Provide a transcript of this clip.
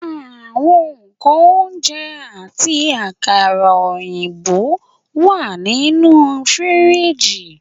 Awọn nkan ounjẹ, ati akara oyinbo wa ninu firiji